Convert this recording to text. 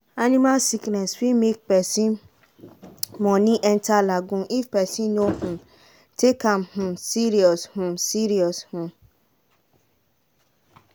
animal sickness fit make person money enter lagoon if person no um take am um serious. um serious. um